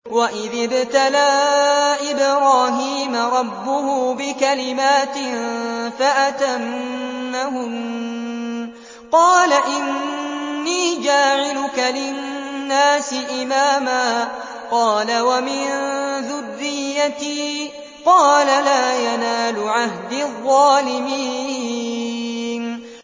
۞ وَإِذِ ابْتَلَىٰ إِبْرَاهِيمَ رَبُّهُ بِكَلِمَاتٍ فَأَتَمَّهُنَّ ۖ قَالَ إِنِّي جَاعِلُكَ لِلنَّاسِ إِمَامًا ۖ قَالَ وَمِن ذُرِّيَّتِي ۖ قَالَ لَا يَنَالُ عَهْدِي الظَّالِمِينَ